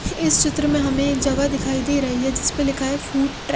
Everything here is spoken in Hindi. इस चित्र में हमे एक जगह दिखाई दे रही है जिसपे लिखा है फ़ूड ट्रे--